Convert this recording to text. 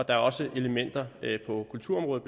er også elementer på kulturområdet